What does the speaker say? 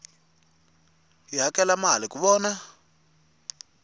hi hakela mali ku vona